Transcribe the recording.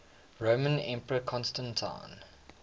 roman emperor constantine